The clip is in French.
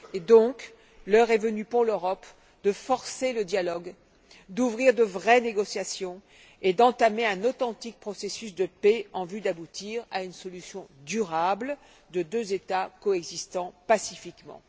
Donc, l'heure est venue pour l'Europe de forcer le dialogue, d'ouvrir de vraies négociations et d'entamer un authentique processus de paix en vue d'aboutir à une solution durable de deux États coexistant pacifiquement.